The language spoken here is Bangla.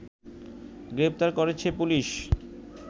গ্রেফতার করেছে পুলিশ